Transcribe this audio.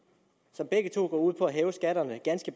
som begge to går ud på at hæve skatterne ganske